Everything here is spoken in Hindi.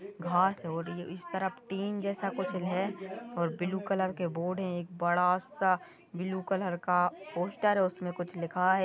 घास हो रही है इस तरफ टीन जैसा कुछ है और ब्लू कलर के बोर्ड हैं एक बड़ा सा ब्लू कलर का पोस्टर है उसमे कुछ लिखा है।